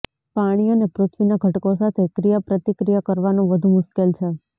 પાણી અને પૃથ્વીના ઘટકો સાથે ક્રિયાપ્રતિક્રિયા કરવાનું વધુ મુશ્કેલ છે